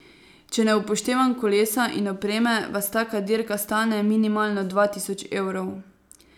Če ne upoštevam kolesa in opreme, vas taka dirka stane minimalno dva tisoč evrov.